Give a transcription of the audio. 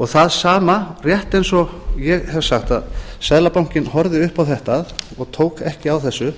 og það sama rétt eins og ég hef sagt að seðlabankinn horfði upp á þetta og tók ekki á þessu